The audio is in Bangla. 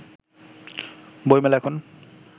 বইমেলা এখন